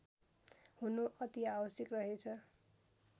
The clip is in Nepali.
हुनु अति आवश्यक रहेछ